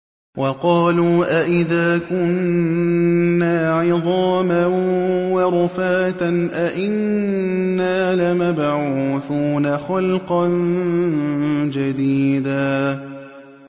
وَقَالُوا أَإِذَا كُنَّا عِظَامًا وَرُفَاتًا أَإِنَّا لَمَبْعُوثُونَ خَلْقًا جَدِيدًا